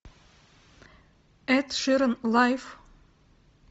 эд ширан лайв